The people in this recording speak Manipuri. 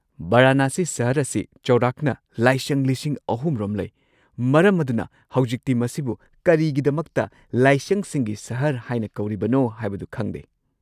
ꯚꯔꯅꯥꯁꯤ ꯁꯍꯔ ꯑꯁꯤ ꯆꯧꯔꯥꯛꯅ ꯂꯥꯏꯁꯪ ꯳꯰꯰꯰ ꯔꯣꯝ ꯂꯩ, ꯃꯔꯝ ꯑꯗꯨꯅ ꯍꯧꯖꯤꯛꯇꯤ ꯃꯁꯤꯕꯨ ꯀꯔꯤꯒꯤꯗꯃꯛꯇ ‘ꯂꯥꯏꯁꯪꯁꯤꯡꯒꯤ ꯁꯍꯔ’ ꯍꯥꯏꯅ ꯀꯧꯔꯤꯕꯅꯣ ꯍꯥꯏꯕꯗꯨ ꯈꯪꯂꯦ꯫